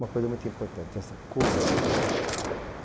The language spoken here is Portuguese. Uma coisa muito importante, essa cuniza.